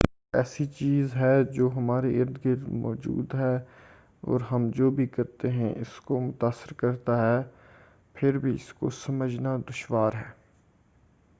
وقت ایسی چیز ہے جو ہمارے ارد گرد موجود ہے اور ہم جو بھی کرتے ہیں اس کو متاثر کرتا ہے پھر بھی اس کو سمجھنا دشوار ہے